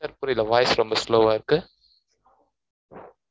sir புரியல, voice ரொம்ப slow ஆ இருக்கு